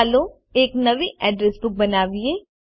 ચાલો એક નવી અડ્રેસ બુક બનાવીએ